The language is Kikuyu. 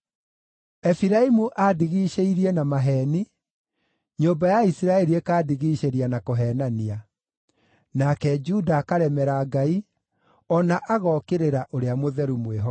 Efiraimu andigiicĩirie na maheeni, nyũmba ya Isiraeli ĩkandigiicĩria na kũheenania. Nake Juda akaremera Ngai, o na agookĩrĩra Ũrĩa Mũtheru mwĩhokeku.